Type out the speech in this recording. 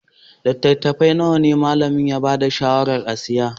Littattafai nawa ne malamin ya ba da shawarar a siya?